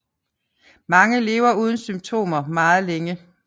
Mange lever uden symptomer meget længe